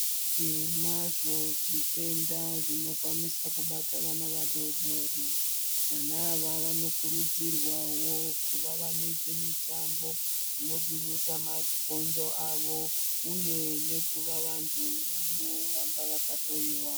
Tinazvo zvitenda zvino kwanisa kubata vana vadodori vana ava vano kurudzirwawo kuva vanoite mitambo ino gwinyisa mabhonzo awo uye nekuva vantu vano ramba vaka hloyiwa.